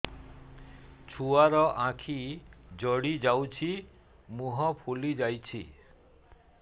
ଛୁଆର ଆଖି ଜଡ଼ି ଯାଉଛି ମୁହଁ ଫୁଲି ଯାଇଛି